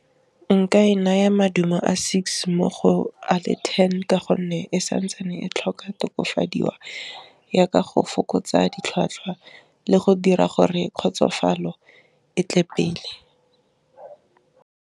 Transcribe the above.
Nka e naya maduo a six mo go a le ten ka gonne e santsane e tlhoka tokafadiwang yaka go fokotsa ditlhwatlhwa, le go dira gore kgotsofalo e tle pele.